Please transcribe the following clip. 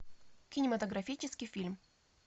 кинематографический фильм